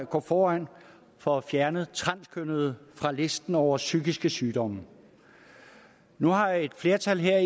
gå foran for at fjerne transkønnethed fra listen over psykiske sygdomme nu har et flertal her